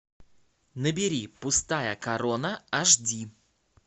набери пустая корона аш ди